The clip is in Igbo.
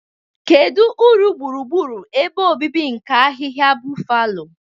Kedu uru gburugburu ebe obibi nke ahịhịa Buffalo?